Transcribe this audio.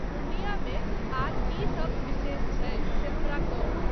पूर्णियामे आर कीसब विशेष छै से हमरा कहू।